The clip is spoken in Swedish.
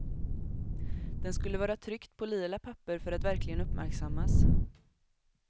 Den skulle vara tryckt på lila papper för att verkligen uppmärksammas.